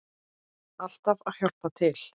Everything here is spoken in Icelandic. Alltaf að hjálpa til.